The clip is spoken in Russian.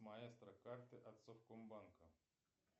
маэстро карты от совкомбанка